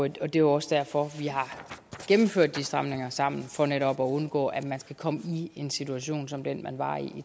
jo også derfor vi har gennemført de stramninger sammen for netop at undgå at man igen skal komme i en situation som den man var i